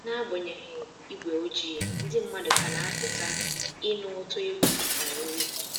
N'agbanyeghị igwe ojii, ndị mmadụ ka na-apụta ịnụ ụtọ egwu na nri